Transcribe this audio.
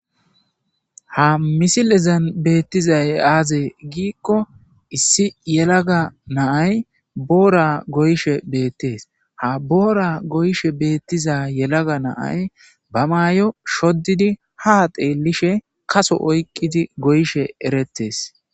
Ha misilezan beettizay aaze giikko issi yelaga naay boora goyshe beettees ha boora goyshe beettiza yelaga naay ba maayo shoddidi ha teelishe kaso oyqqidi goyshe erettees.